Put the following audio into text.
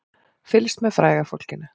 Fylgst með fræga fólkinu